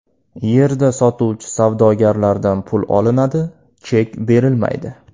Yerda sotuvchi savdogarlardan pul olinadi, chek berilmaydi.